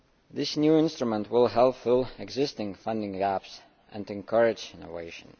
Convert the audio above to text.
This new instrument will help fill existing funding gaps, and encourage innovation.